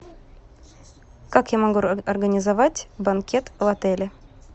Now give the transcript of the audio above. как я могу организовать банкет в отеле